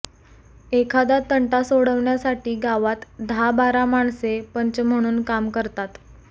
एखादा तंटा सोडवण्यासाठी गावात दहाबारा माणसे पंच म्हणून काम करतात